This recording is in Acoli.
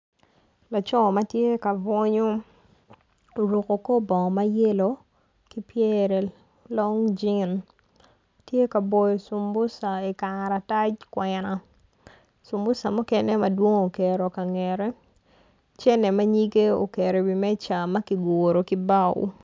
Laco ma tye ka bwunyu oruku kor bongo ma yelo ki pyere long jin tye ka boyo cumbuca i karatac kwena cumbuca mukene madwong oketo ka ngette cene ma nyige oketo iwi meja ma ki guru ki bao